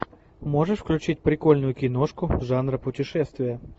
можешь включить прикольную киношку жанра путешествия